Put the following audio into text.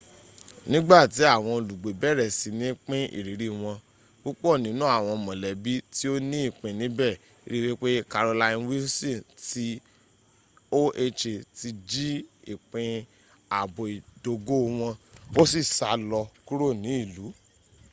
nigbati awon olugbe bere sini pin iriri won pupo ninu awon molebi ti o ni ipin nibe ri wipe carolyn wilson ti oha ti ji ipin aabo idogo won o si sa lo kuro ni ilu